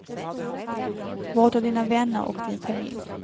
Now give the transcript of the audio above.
Vårda dina vänner och din familj.